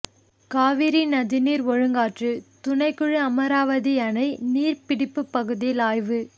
காவிரி நதிநீர் ஒழுங்காற்று துணைக்குழு அமராவதி அணை நீர்பிடிப்பு பகுதியில் ஆய்வு